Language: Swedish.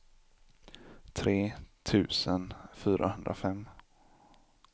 tre tusen fyrahundrafem